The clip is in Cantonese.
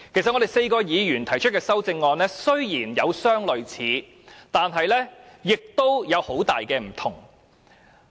雖然4位議員提出的修正案有相類似的地方，但亦有很大的差異。